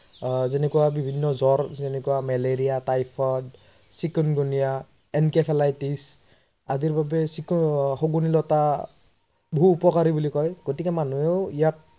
যেনেকৈ বিভিন্ন জ্বৰ, এনেকোৱা মেলেৰিয়া, টাইফইদ, চিকেনগোনিয়া, এনকেফেলাইতিচ আদিৰ বাবে শগুনী লতা বহু উপকাৰী বুলি কয় গতিকে মানুহেও ইয়াক